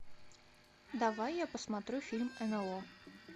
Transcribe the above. давай я посмотрю фильм нло